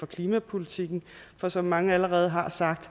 klimapolitikken for som mange allerede har sagt